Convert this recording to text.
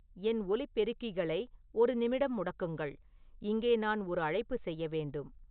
என் ஒலிப்பெருக்கிகளை ஒரு நிமிடம் முடக்குங்கள் இங்கே நான் ஒரு அழைப்பு செய்ய வேண்டும்